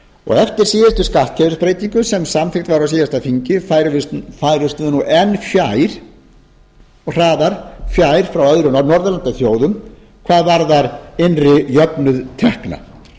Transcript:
og eftir síðustu skattkerfisbreytingu sem samþykkt var á síðasta þingi færumst við enn fjær og hraðar fjær frá öðrum norðurlandaþjóðum hvað varðar innri jöfnuð tekna þegar lög